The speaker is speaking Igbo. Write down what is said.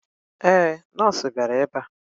Ee, nọọsụ bịara ebe a.